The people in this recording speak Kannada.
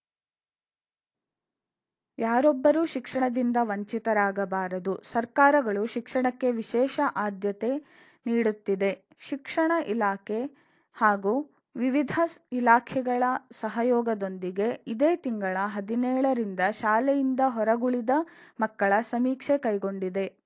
ಯಾರೊಬ್ಬರು ಶಿಕ್ಷಣದಿಂದ ವಂಚಿತರಾಗಬಾರದು ಸರ್ಕಾರಗಳು ಶಿಕ್ಷಣಕ್ಕೆ ವಿಶೇಷ ಆದ್ಯತೆ ನೀಡುತ್ತಿದೆ ಶಿಕ್ಷಣ ಇಲಾಖೆ ಹಾಗೂ ವಿವಿಧ ಇಲಾಖೆಗಳ ಸಹಯೋಗದೊಂದಿಗೆ ಇದೇ ತಿಂಗಳ ಹದಿನೇಳ ರಿಂದ ಶಾಲೆಯಿಂದ ಹೊರಗುಳಿದ ಮಕ್ಕಳ ಸಮೀಕ್ಷೆ ಕೈಗೊಂಡಿದೆ